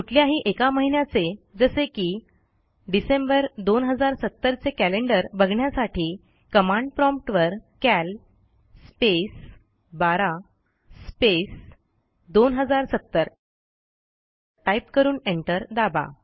कुठल्याही एका महिन्याचे जसे की डिसेंबर 2070 चे कॅलेंडर बघण्यासाठी कमांड promptवर कॅल स्पेस 12 स्पेस 2070 टाईप करून एंटर दाबा